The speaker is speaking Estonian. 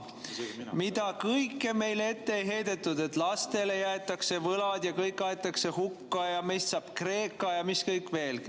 Mida kõike meile ette ei heidetud: lastele jäetakse võlad ja kõik aetakse hukka ja meist saab Kreeka ja mis kõik veel!